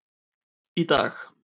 Í dag,